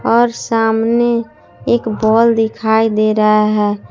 और सामने एक बॉल दिखाई दे रहा है।